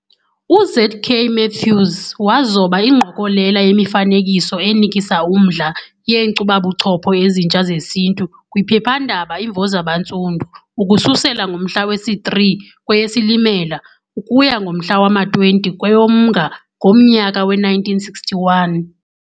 UZ.K. Matthews wazoba ingqokelela yemifanekiso enikisa umdla yeenkcubabuchopho Ezintsha zesiNtu kwiphephandaba Imvo Zabantsundu ukususela ngomhla wesi-3 kweyeSilimela ukuya ngomhla wama-20 kweyoMnga ngomnyaka we-1961.